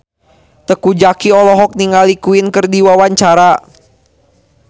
Teuku Zacky olohok ningali Queen keur diwawancara